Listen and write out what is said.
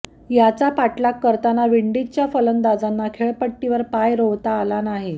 याचा पाठलाग करताना विंडीजच्या फलंदाजांना खेळपट्टीवर पाय रोवता आला नाही